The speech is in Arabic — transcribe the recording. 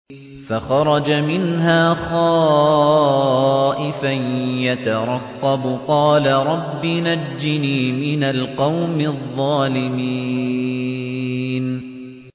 فَخَرَجَ مِنْهَا خَائِفًا يَتَرَقَّبُ ۖ قَالَ رَبِّ نَجِّنِي مِنَ الْقَوْمِ الظَّالِمِينَ